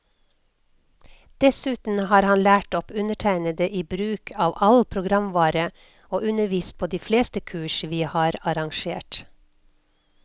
Dessuten har han lært opp undertegnede i bruk av all programvare, og undervist på de fleste kurs vi har arrangert.